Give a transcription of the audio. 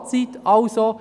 Das Fazit lautet somit: